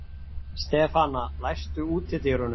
Stefana, læstu útidyrunum.